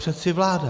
Přeci vláda.